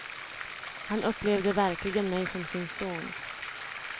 Han upplevde verkligen mig som sin son.